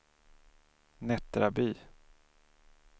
Nättraby